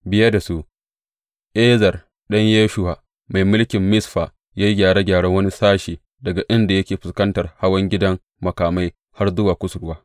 Biye da su, Ezer ɗan Yeshuwa, mai mulkin Mizfa, ya yi gyara wani sashe, daga inda yake fuskantar hawan gidan makamai har zuwa kusurwa.